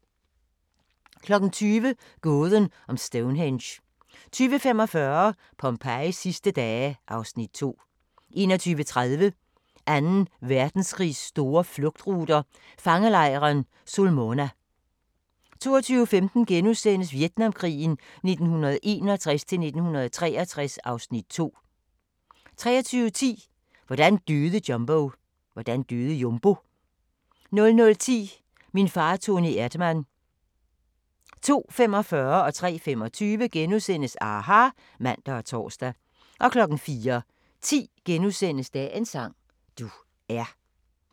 20:00: Gåden om Stonehenge 20:45: Pompejis sidste dage (Afs. 2) 21:30: Anden Verdenskrigs store flugtruter – fangelejren Sulmona 22:15: Vietnamkrigen 1961-1963 (Afs. 2)* 23:10: Hvordan døde Jumbo? 00:10: Min far Toni Erdmann 02:45: aHA! *(man og tor) 03:25: aHA! *(man og tor) 04:10: Dagens sang: Du er *